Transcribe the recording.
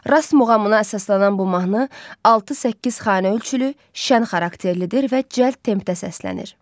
Rast muğamına əsaslanan bu mahnı 6-8 xanə ölçülü, şən xarakterlidir və cəld tempdə səslənir.